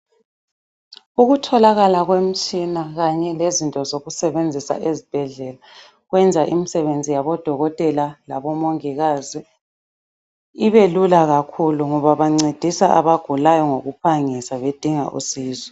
Ukutholakala kwemitshina kanye lezinto zokusebenzisa ezibhedlela kwenza imisebenzi yabo dokotela labo mongikazi ibe lula kakhulu ngoba bancedisa abagulayo ngokuphangisa bedinga usizo.